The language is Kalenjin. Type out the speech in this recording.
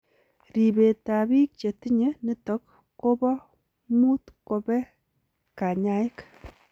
Ripeet ap piik chetinye nitok poo muut kopee kanyaik .